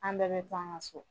An bɛɛ bɛ kun an ka so